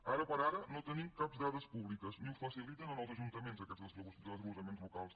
ara per ara no tenim cap dada pública ni els faciliten als ajuntaments aquests desglossaments locals